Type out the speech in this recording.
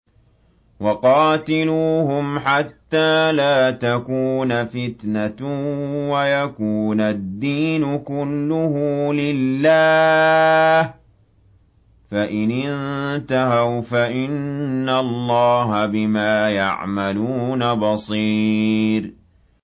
وَقَاتِلُوهُمْ حَتَّىٰ لَا تَكُونَ فِتْنَةٌ وَيَكُونَ الدِّينُ كُلُّهُ لِلَّهِ ۚ فَإِنِ انتَهَوْا فَإِنَّ اللَّهَ بِمَا يَعْمَلُونَ بَصِيرٌ